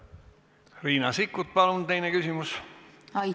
Riina Sikkut, palun teine küsimus!